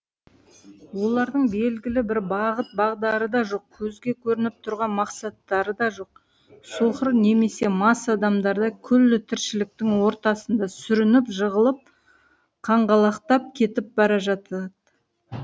олардың белгілі бір бағыт бағдары да жоқ көзге көрініп тұрған мақсаттары да жоқ соқыр немесе мас адамдардай күллі тіршіліктің ортасында сүрініп жығылып қаңғалақтап кетіп бара жатад